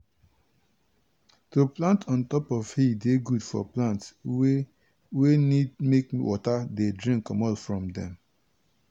to plant on top hill dey good for plant wey wey need make water dey drain comot from dem.